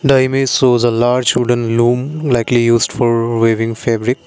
the image shows a large wooden loom likely used for wearing fabric.